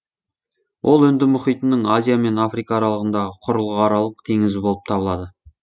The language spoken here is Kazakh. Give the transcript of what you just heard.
ол үнді мұхитының азия мен африка аралығындағы құрлықаралық теңіз болып табылады